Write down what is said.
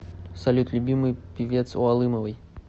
салют любимый певец у алымовой